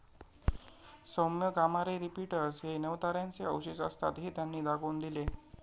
सौम्य gamma ray repeaters हे नवताऱ्यांचे अवशेष असतात, हे त्यांनी दाखवून दिले.